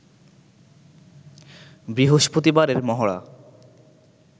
বৃহস্পতিবারের মহড়া